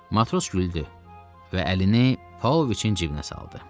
Matros güldü və əlini Pauloviçin cibinə saldı.